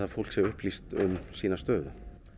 fólk sé upplýst um sína stöðu